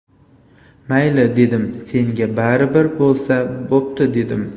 Mayli, dedim, senga baribir bo‘lsa bo‘pti, dedim.